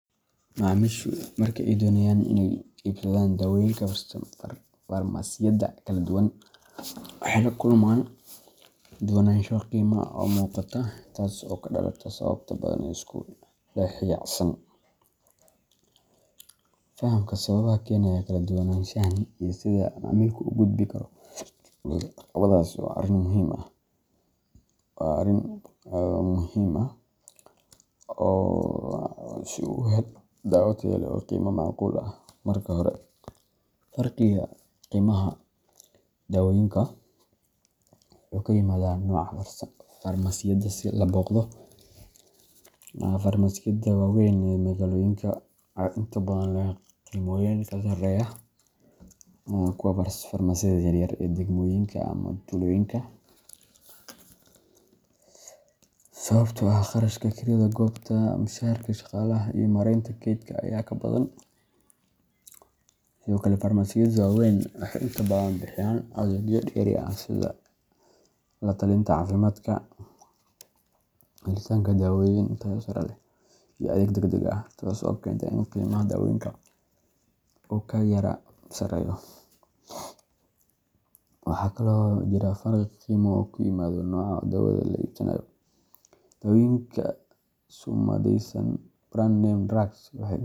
Macmiishu marka ay doonayaan inay iibsadaan daawooyinka farmasiyada kala duwan, waxay la kulmaan kala duwanaansho qiime oo muuqata, taas oo ka dhalata sababo badan oo isku dhexyaacsan. Fahamka sababaha keenaya kala duwanaanshahan iyo sida macmiilku uga gudbi karo caqabadahaas waa arrin muhiim ah, si uu u helo daawo tayo leh oo qiimo macquul ah. Marka hore, farqiga qiimaha daawooyinka wuxuu ka yimaadaa nooca farmasiyada la booqdo. Farmasiyada waaweyn ee magaalooyinka ayaa inta badan leh qiimooyin ka sarreeya kuwa farmasiyada yaryar ee degmooyinka ama tuulooyinka, sababtoo ah kharashka kirada goobta, mushaharka shaqaalaha, iyo maaraynta kaydka ayaa ka badan. Sidoo kale, farmasiyada waaweyn waxay inta badan bixiyaan adeegyo dheeri ah sida la-talinta caafimaadka, helitaanka daawooyin tayo sare leh, iyo adeeg degdeg ah, taas oo keenta in qiimaha daawooyinka uu ka yara sarreeyo. Waxaa kaloo jira farqi qiimo oo ku yimaada nooca daawada la iibsanayo. Daawooyinka sumadaysan brand-name drugs waxay inta.